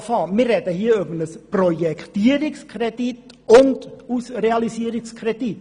Wir sprechen hier sowohl über einen Projektierungs- als auch über einen Realisierungskredit.